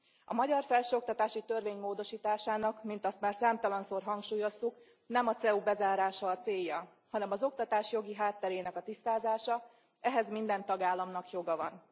A magyar felsőoktatási törvény módosításának, mint azt már számtalanszor hangsúlyoztuk, nem a CEU bezárása a célja, hanem az oktatás jogi hátterének a tisztázása, ehhez minden tagállamnak joga van.